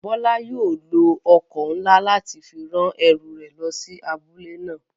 Bola yóò lo oko nla lati fi ran eru re lo si abule náa.